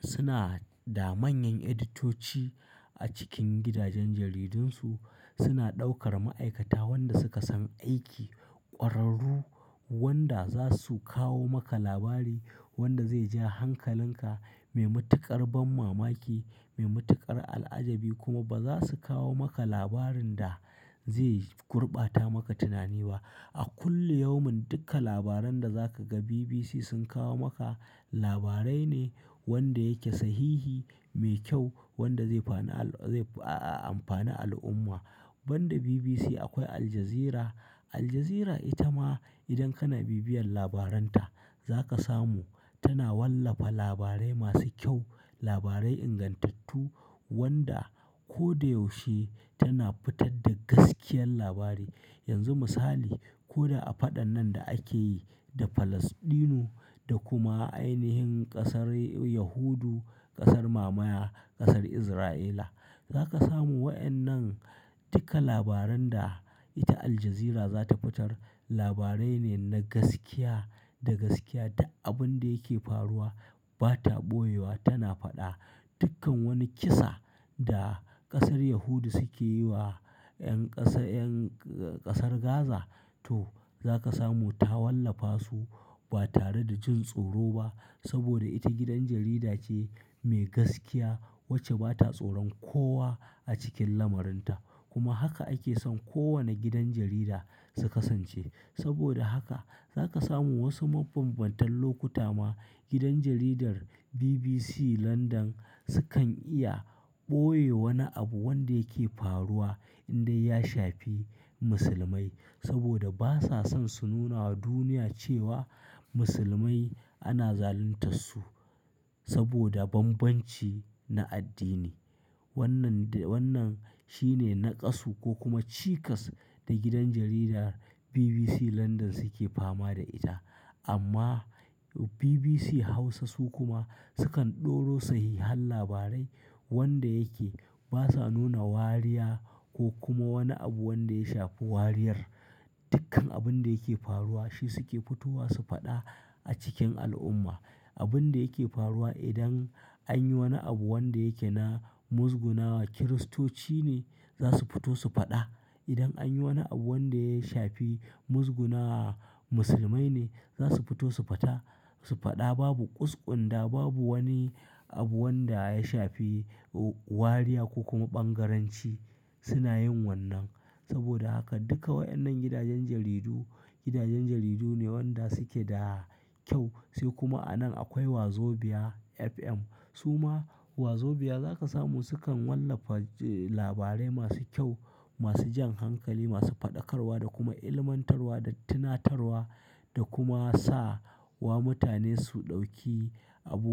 suna da manyan editoci a cikin gidajen jaridunsu. Suna ɗaukar ma'aikata wanda suka san aiki, ƙwararru wanda za su kawo maka labari wanda zai ja hankalinka, mai matuƙar ban mamaki, mai matuƙar al'ajabi kuma ba za su kawo maka labarin da zai gurbata maka tunani ba. A kullum yaumin duka labaran da za ka ga BBC sun kawo maka labarai ne wanda yake sahihi, mai kyau wanda zai fani al-- zai, ah, amfani al'umma. Ban da BBC akwai Al Jazeera. Al Jazeera ita ma idan kana bibiyan labaranta za ka samu tana wallafa labarai masu kyau, labarai ingantattu wanda ko da yaushe tana fitar da gaskiyar labari. Yanzu misali, ko da a faɗan nan da ake yi da Falasɗinu da kuma ainihin ƙasar Yahudu, ƙasar mamaya, ƙasar Isra'ila. Za ka samu wayannan duka labaran da ita Al Jazeera za ta fitar labarai ne na gaskiya da gaskiya duk abun da yake faruwa ba ta ɓoyewa tana faɗa. Dukkan wani kisa da ƙasar Yahudu suke yi wa ƴan ƙasa, ƴan ƙasar Gaza to za ka samu ta wallafa su ba tare da jin tsoro ba. Saboda ita gidan jarida ce mai gaskiya wacce ba ta tsoron kowa a cikin lamurinta. Kuma haka ake son kowane gidan jarida su kasance. Saboda haka za ka samu wasu mabambantan lokuta ma gidan jaridar BBC Landan sukan iya ɓoye wani abu wanda yake faruwa in dai ya shafi Musulmai. Saboda ba sa son su nuna wa duniya cewa Musulmai ana zaluntar su saboda banbanci na addini. Wannan de-- wannan shine naƙasu ko kuma cikas da gidan jaridar BBC Landan suke fama da ita. Amma BBC Hausa su kuma sukan ɗoro sahihan labarai wanda yake. Ba sa nuna wariya ko kuma wani abu wanda ya shafi wariyar. Dukkan abun da yake faruwa shi suke fitowa su faɗa a cikin al'umma. Abun da yake faruwa idan an yi wani abu wanda yake na muzguna wa Kiristoci ne za su fito su faɗa. Idan an yi wani abu wanda ya shafi muzguna wa Musulmai ne za su fito su fata, su faɗa. Babu ƙusƙunda, babu wani abu wanda ya shafi wariya ko kuma ɓangaranci suna yin wannan. Saboda haka duka waɗannan gidajen jaridu, gidajen jaridu ne wanda suke da kyau. Sai kuma a nan akwai Wazobia FM. Su ma Wazobia za ka samu sukan wallafa, eh, labarai masu kyau, masu jan hankali, masu faɗakarwa da kuma ilmantarwa da tunatarwa da kuma sa wa mutane su ɗauki abu.